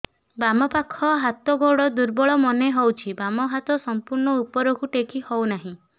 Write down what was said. ବାମ ପାଖ ହାତ ଗୋଡ ଦୁର୍ବଳ ମନେ ହଉଛି ବାମ ହାତ ସମ୍ପୂର୍ଣ ଉପରକୁ ଟେକି ହଉ ନାହିଁ